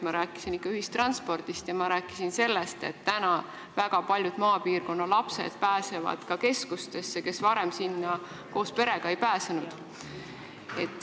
Ma rääkisin ikka ühistranspordist ja ma rääkisin sellest, et nüüd pääsevad keskustesse ka väga paljud maapiirkonna lapsed, kes varem sinna koos perega ei saanud.